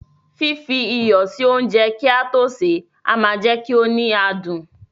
Fífi iyọ̀ sí oúnjẹ kí a tó sè é máa jẹ kí ó ní adùn.